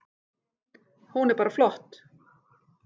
Hún er bara flott.